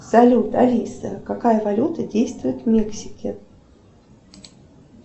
салют алиса какая валюта действует в мексике